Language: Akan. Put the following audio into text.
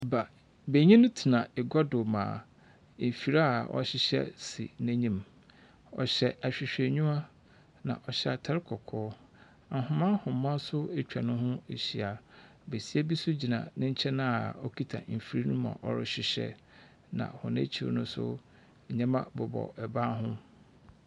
Ba…benyin tsena egua do ma efir a ɔhyehyɛ si n'enyim. Ɔhyɛ ahwehwɛniwa, na ɔhyɛ atar kɔkɔɔ. Nhoma nhoma nso atwa ne ho ehyia. Besia bi nso gyina ne nkyɛn a ɔkuta mfir no mu a ɔrehyehyɛ, na hɔn ekyir no nso, nneɛma bobɔ ban ho.